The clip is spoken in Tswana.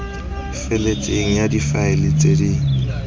feletseng ya difaele tse di